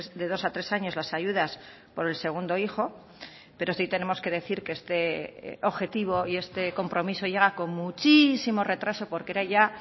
de dos a tres años las ayudas por el segundo hijo pero sí tenemos que decir que este objetivo y este compromiso llega con muchísimo retraso porque era ya